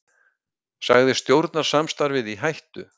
Sagði stjórnarsamstarfið í hættu